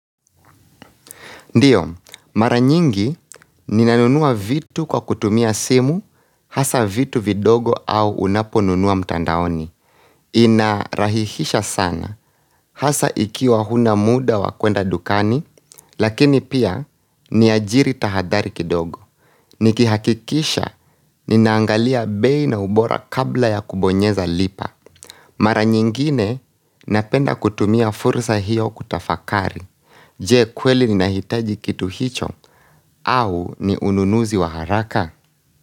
Ndiyo, mara nyingi, ninanunua vitu kwa kutumia simu, hasa vitu vidogo au unaponunua mtandaoni Inarahihisha sana, hasa ikiwa huna muda wa kwenda dukani, lakini pia ni ajiri tahadari kidogo Nikihakikisha, ninaangalia bei na ubora kabla ya kubonyeza lipa Mara nyingine, napenda kutumia fursa hiyo kutafakari Je kweli ni nahitaji kitu hicho au ni ununuzi wa haraka.